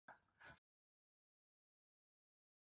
Jóhanna: Er það skemmtilegast?